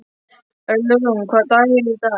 Ölrún, hvaða dagur er í dag?